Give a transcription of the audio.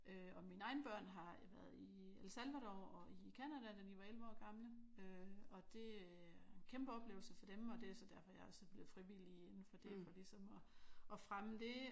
Øh og mine egne børn har været i El Salvador og i Canada da de var 11 år gamle øh og det var en kæmpe oplevelse for dem og det er så derfor jeg er blevet frivillig indenfor det. For ligesom at fremme det